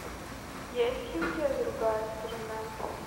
есть ли у тебя другая сторона